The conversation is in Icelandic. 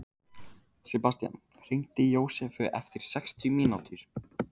Sebastian, hringdu í Jósefu eftir sextíu mínútur.